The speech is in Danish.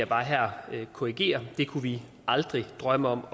bare her korrigere det kunne vi aldrig drømme om